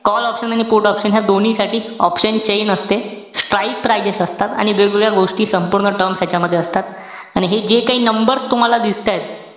call option आणि put option या दोन्हीसाठी option chain असते. strike ptices असतात. आणि वेगेवेगळ्या गोष्टी सम्पूर्ण terms यांच्यामध्ये असतात. आणि हे जे काई numbers तुम्हाला दिसतायत.